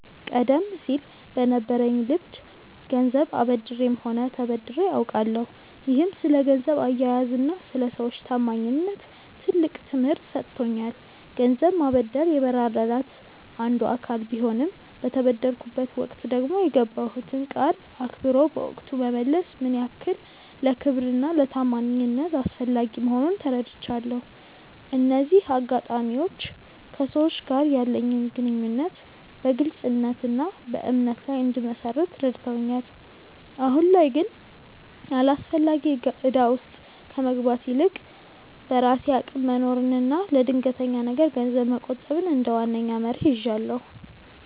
ቀደም ሲል በነበረኝ ልምድ ገንዘብ አበድሬም ሆነ ተበድሬ አውቃለሁ፤ ይህም ስለ ገንዘብ አያያዝና ስለ ሰዎች ታማኝነት ትልቅ ትምህርት ሰጥቶኛል። ገንዘብ ማበደር የመረዳዳት አንዱ አካል ቢሆንም፣ በተበደርኩበት ወቅት ደግሞ የገባሁትን ቃል አክብሮ በወቅቱ መመለስ ምን ያህል ለክብርና ለታማኝነት አስፈላጊ መሆኑን ተረድቻለሁ። እነዚህ አጋጣሚዎች ከሰዎች ጋር ያለኝን ግንኙነት በግልጽነትና በእምነት ላይ እንድመሰርት ረድተውኛል። አሁን ላይ ግን አላስፈላጊ እዳ ውስጥ ከመግባት ይልቅ፣ በራሴ አቅም መኖርንና ለድንገተኛ ነገር ገንዘብ መቆጠብን እንደ ዋነኛ መርህ ይዣለሁ።